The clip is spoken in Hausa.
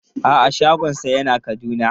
A'a shagonsa yana Kaduna.